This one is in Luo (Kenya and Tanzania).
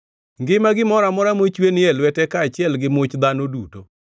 Ngima gimoro amora mochwe ni e lwete kaachiel gi much dhano duto.